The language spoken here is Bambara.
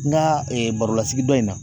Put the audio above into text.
N ka barolasigi dɔ in na